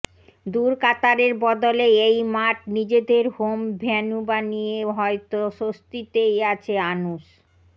দূর কাতারের বদলে এই মাঠ নিজেদের হোম ভেন্যু বানিয়ে হয়তো স্বস্তিতেই আছে আনুশ